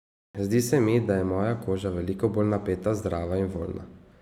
Zdi se mi, da je moja koža veliko bolj napeta, zdrava in voljna.